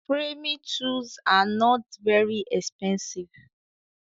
Framing tools are not very expensive